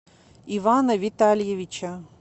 ивана витальевича